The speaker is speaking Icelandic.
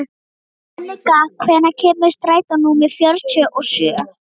Jannika, hvenær kemur strætó númer fjörutíu og sjö?